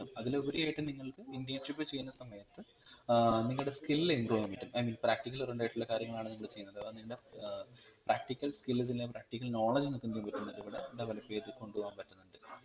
അതിൽ ഉപരിയായിട്ട് നിങ്ങൾക് internship ചെയ്യുന്ന സമയത്ത് ഏർ നിങ്ങടെ skill improve ചെയ്യാൻ പറ്റും I mean practical oriented ആയിട്ടുള്ള കാര്യങ്ങളാണ് നിങ്ങൾ ചെയ്യുന്നത് ഏർ എന്താ ഏർ practical skills practical knowledge നമ്മക് എന്തയാൻ പറ്റും നമുക്കിവിടെ develop ചെയ്ത് കൊണ്ടുപോകാൻ പറ്റുന്നുണ്ട്